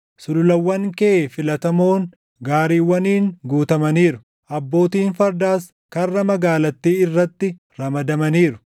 Sululawwan kee filatamoon gaariiwwaniin guutamaniiru; abbootiin fardaas karra magaalattii irratti ramadamaniiru.